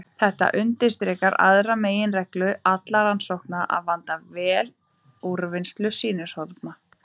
Þetta undirstrikar aðra meginreglu allra rannsókna: að vanda vel úrvinnslu sýnishorna.